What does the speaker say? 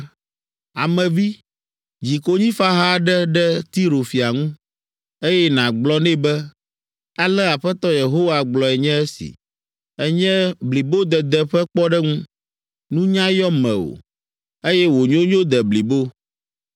“Ame vi, dzi konyifaha aɖe ɖe Tiro fia ŋu, eye nàgblɔ nɛ be, ‘Ale Aƒetɔ Yehowa gblɔe nye si: “ ‘Ènye blibodede ƒe kpɔɖeŋu, nunya yɔ mewò, eye wò nyonyo de blibo.